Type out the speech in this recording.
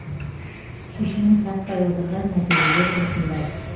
шешімін таппай отырған мәселелер осындай